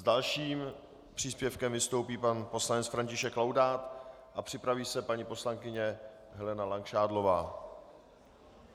S dalším příspěvkem vystoupí pan poslanec František Laudát a připraví se paní poslankyně Helena Langšádlová.